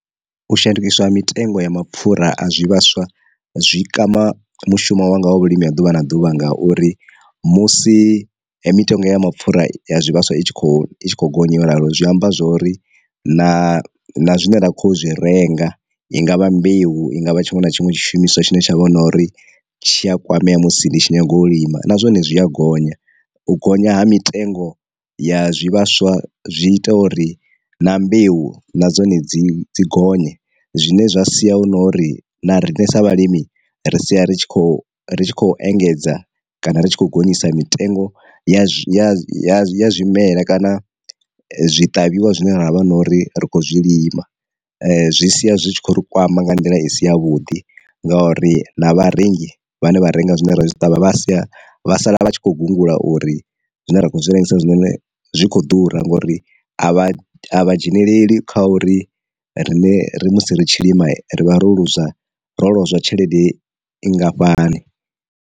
U shandukiswa ha mitengo ya mapfura a zwi vhaswa zwi kama mushumo wa nga ha vhulimi ha ḓuvha na ḓuvha ngauri musi mitengo ya mapfura ya zwivhaswa i tshi kho i khou gonya yo ralo zwi amba zwori na zwine ra kho zwi renga i ngavha mbeu, i ngavha tshiṅwe na tshiṅwe tshi shumiswa tshine tshavha na uri tshi a kwamea musi ndi tshi nyanga u lima na zwone zwi a gonya. U gonya ha mitengo ya zwi vhaswa zwi ita uri na mbeu na dzone dzi dzi gonye zwine zwa sia hu no uri na riṋe sa vhalimi ri sia ri tshi khou ri tshi khou engedza kana ri tshi khou gonyisa mitengo ya ya ya zwa zwimela kana zwi ṱavhiwa zwine ravha na uri ri kho zwilima. Zwi sia zwi tshi khou ri kwama nga nḓila i si ya vhuḓi ngauri na vharengi vhane hone vha renga zwine ra zwi ṱavha vha si vhaisala vhatshi kho gungula uri zwine ra khou zwi rengisa zwine zwikho ḓura ngori a vha a vha dzheneleli kha uri rine ri musi ri tshi lima rivha ro lu zwa ro lozwa tshelede nngafhani.